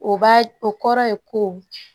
O b'a o kɔrɔ ye ko